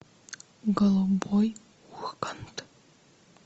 голубой ургант